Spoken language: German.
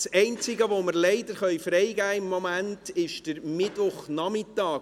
Das Einzige, was wir im Moment freigeben können, ist der Mittwochnachmittag.